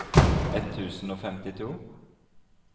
ett tusen og femtito